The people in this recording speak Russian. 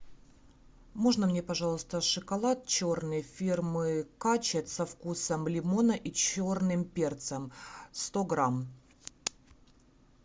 можно мне пожалуйста шоколад черный фирмы качет со вкусом лимона и черным перцем сто грамм